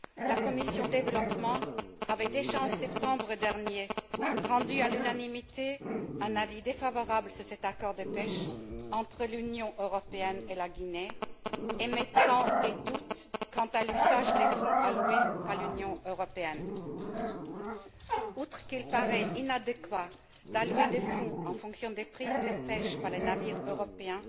La commission du développement avait déjà, en septembre dernier, rendu à l'unanimité un avis défavorable sur cet accord de pêche entre l'Union européenne et la Guinée, émettant des doutes quant à l'usage des fonds alloués par l'Union européenne. Outre qu'il paraît inadéquat d'allouer des fonds en fonction des prises de pêche par les navires européens